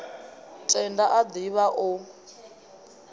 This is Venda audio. tenda a div ha o